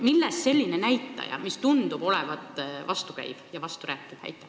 Millest selline näitaja, mis tundub olevat vastukäiv ja vasturääkiv?